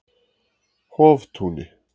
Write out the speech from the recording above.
Hoftúni